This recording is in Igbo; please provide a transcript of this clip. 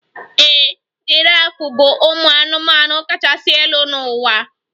Ee, giraf bụ ụmụ anụmanụ kachasị elu n'ụwa